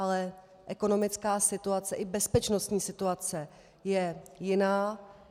Ale ekonomická situace, i bezpečnostní situace je jiná.